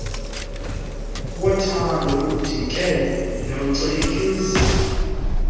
wothando udike nocikiizwa